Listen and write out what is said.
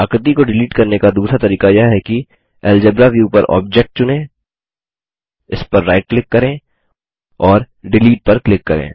आकृति को डिलीट करने का दूसरा तरीका यह है कि एल्जेब्रा व्यू पर ऑब्जेक्ट चुनें इस पर राइट क्लिक करें और डिलीट पर क्लिक करें